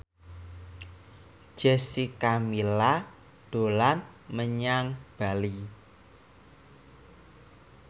Jessica Milla dolan menyang Bali